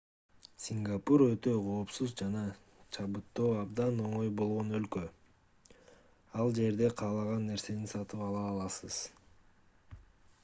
сингапур өтө коопсуз жана чабыттоо абдан оңой болгон өлкө ал жерде каалаган нерсени сатып ала аласыз